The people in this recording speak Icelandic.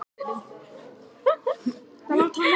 Hann var í framboði fyrir Alþýðuflokkinn.